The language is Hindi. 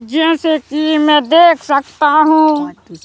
जैसे कि मैं देख सकता हूं।